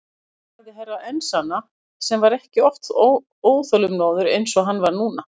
Og sagði Herra Enzana sem var ekki oft óþolinmóður eins og hann var núna.